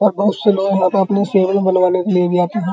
और बहोत से लोग अपने शेविंग बनवाने के लिए भी आते हैं।